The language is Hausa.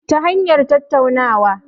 Ta hanyar tattaunawa